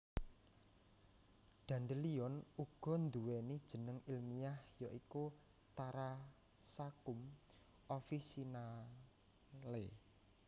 Dandelion uga nduwèni jeneng ilmiah ya iku Taraxacum officinale